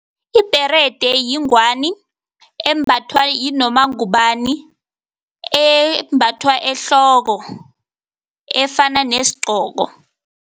Ibherede yingwani embathwa yinoma ngubani, embathwa ehloko efana nesigqoko.